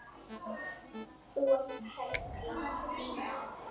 Þú ert perla Lína!